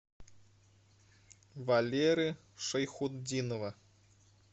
валеры шайхутдинова